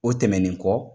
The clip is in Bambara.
O tɛmɛnen kɔ